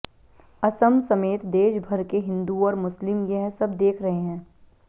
असम समेत देश भर के हिंदू और मुस्लिम यह सब देख रहे हैं